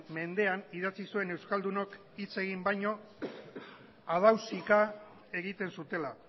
mendean idatzi zuen euskaldunok hitz egin baino harrausika egiten zutela